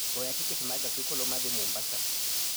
Goya tiket ma gach okoloma dhi Mombasa